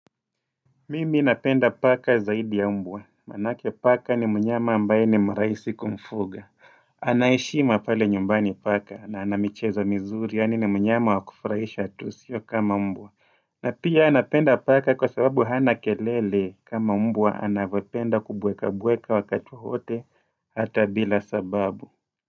Mimi napenda paka zaidi ya mbwa manake paka ni mnyama ambaye ni mrahisi kumfuga Anaheshima pale nyumbani paka na anamicheza mizuri yaani ni mnyama wakufurahisha tu sio kama mbwa na pia napenda paka kwa sababu hana kelele kama mbwa anavyopenda kubweka bweka wakati wowote hata bila sababu.